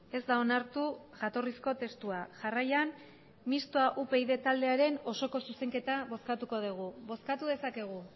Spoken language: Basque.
ez da onartu jatorrizko testua jarraian mistoa upyd taldearen osoko zuzenketa bozkatuko dugu bozkatu dezakegu